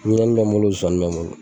Ɲinɛnin bɛ n bolo zozani bɛ n bolo.